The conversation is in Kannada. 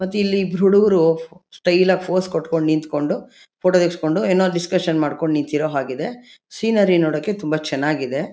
ಮತ್ ಇಲ್ಲಿ ಇಬ್ರು ಹುಡ್ಗುರು ಫೋ ಸ್ಟೈಲ್ ಆಗ್ ಫೋಸ್ ಕೊಟ್ಕೊಂಡ್ ನಿಂತ್ಕೊಂಡು ಫೋಟೋ ತಗುಸ್ಕೊಂಡು ಏನೋ ಡಿಸ್ಕಶನ್ ಮಾಡ್ಕೊಂಡ್ ನಿಂತ್ಕೊಂಡಿರೋ ಹಾಗಿದೆ. ಸೀನರಿ ನೋಡಕ್ ತುಂಬಾ ಚೆನಾಗಿದೆ.